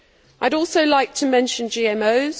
I would also like to mention GMOs.